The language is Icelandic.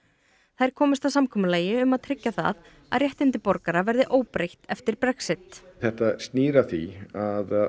þær komust að samkomulagi um að tryggja það að réttindi borgara verði óbreytt eftir Brexit þetta snýr að því að